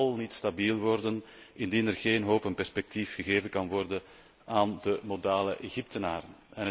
Egypte zal niet stabiel worden indien er geen hoop en perspectief gegeven kan worden aan de modale Egyptenaren.